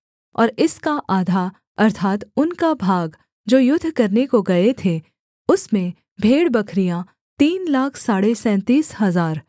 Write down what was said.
और इसका आधा अर्थात् उनका भाग जो युद्ध करने को गए थे उसमें भेड़बकरियाँ तीन लाख साढ़े सैंतीस हजार